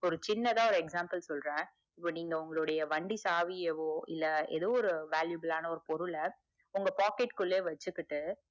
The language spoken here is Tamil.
ஒரு சின்னதா ஒரு example சொல்றேன் நீங்க உங்களுடைய வண்டி சாவியாவோ எதோ ஒரு valuable ஆன பொருள உங்க பாக்கெட் குள்ளே வச்சிக்கிட்டு